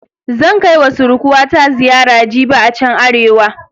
Zan kai wa surkuwata ziyara jibi a chan Arewa.